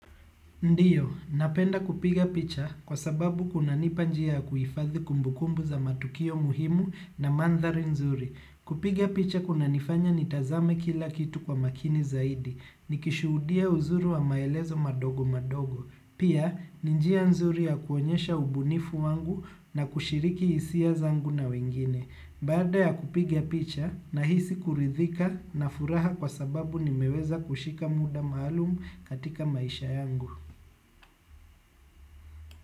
Ndiyo, napenda kupiga picha kwa sababu kunanipa njia ya kuhifadhi kumbukumbu za matukio muhimu na manthari nzuri. Kupiga picha kunanifanya nitazame kila kitu kwa makini zaidi, nikishuhudia uzuri wa maelezo madogo madogo. Pia, ni njia nzuri ya kuonyesha ubunifu wangu na kushiriki hisia zangu na wengine. Baada ya kupiga picha, nahisi kuridhika na furaha kwa sababu nimeweza kushika muda maalumu katika maisha yangu.